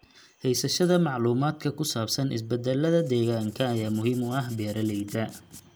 Haysashada macluumaadka ku saabsan isbeddelada deegaanka ayaa muhiim u ah beeralayda.